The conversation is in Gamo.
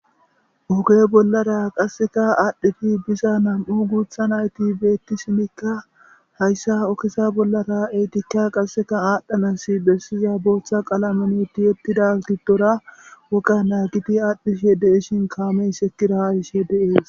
oge bollara qasseka aadhdhedi biza nam7u guutha nayti beettishinikka hayssa ogeza bollara eetikka qasseka aadhdhanassi bessiza bootha qalameni tiyettida giddora woga naagidi aadhdhishe de7ishin kaamey herkira ha yishe de7ees.